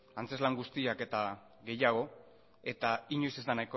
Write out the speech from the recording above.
antzezlan guztiak eta gehiago eta inoiz ez da